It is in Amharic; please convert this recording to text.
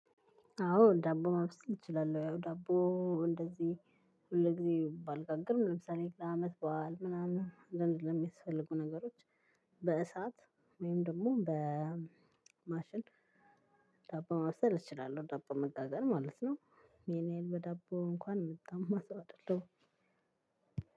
አዎ ዳቦ ማብሰል እችላለሁ ያው ዳቦ እንደዚህ ሁል ጊዜ ባልጋግርም ለምሳሌ ለአመት በዓል ምናምን ለእን ለሚያስፈልጉ ነገሮች በእሳት ወይም ደግሞ በማሽን ዳቦ ማብሰል እችላለሁ ዳቦ መጋገር ማለት ነው። ይሄን ያህል በዳቦ እንኳን እምተማ ሰው አይደለሁም።